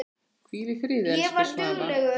Hvíl í friði, elsku Svafa.